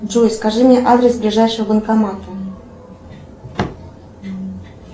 джой скажи мне адрес ближайшего банкомата